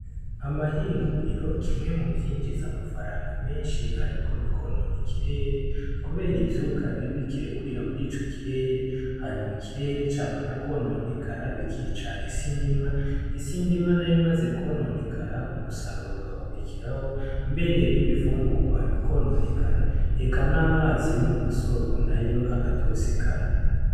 Amahinguriro kimwe mu vyinjize amafaranga menshi, ariko bikonone kirere, kubera ivyuka bibi kirekurira muri ico kirere hanyuma ikirere camara kononekara bikica isindimwa isi ndimwa na ye, maze kwononekara umusaruro gakurikiraho mbere n'ibifungurwabo ikononekara eka n' amazi yo mu masoko na yo agatosikara.